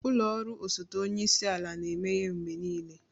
Ụlọ ọrụ osote onye isi ala na-emeghe mgbe niile